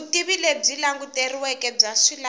vutivi lebyi languteriweke bya swilaveko